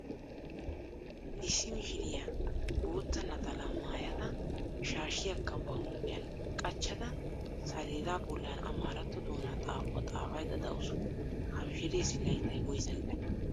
Issi mishiriya bootta naxalaa maayada shaashiyaakka ba huuphiyan qachchada saleeda bollan amaaratto doonaa xaafuwa xaafaydda dawusu. Ha mishireessi layttay woysa gidanee?